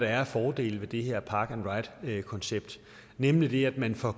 er af fordele ved det her park and ride koncept nemlig at man får